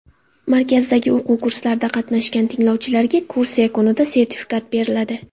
Markazdagi o‘quv kurslarida qatnashgan tinglovchilarga kurs yakunida sertifikat beriladi.